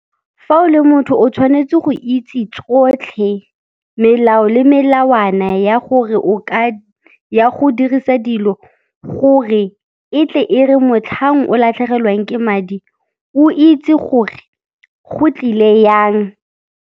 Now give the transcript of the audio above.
Fa o le motho o tshwanetse go itse tsotlhe, melao le melawana ya gore o ka ya go dirisa dilo gore e tle e re motlhang o latlhegelwang ke madi, o itse gore go tlile jang.